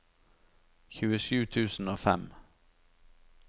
tjuesju tusen og fem